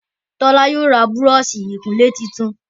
Tola yóò rá Búrọ̀ọ̀ṣì ìkunlé títún.